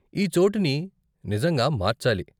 ఈ చోటుని నిజంగా మార్చాలి.